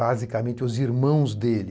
Basicamente, os irmãos dele,